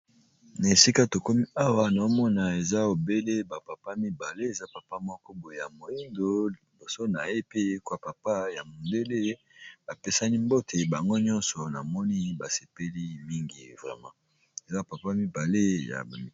na esika tokomi awa na omona eza ebele bapapa mibale eza papa moko boye ya moindo liboso na ye peekwa papa ya modele bapesani mbote bango nyonso na moni basepeli mingi vrema eza papa mibale ya i